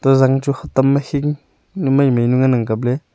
zang chu hitam ma hing nu maimai nu ngan ang kapley.